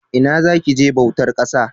Ina za ki je bautar ƙasa?